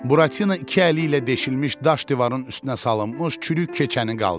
Buratina iki əli ilə deşilmiş daş divarın üstünə salınmış çürük keçəni qaldırdı.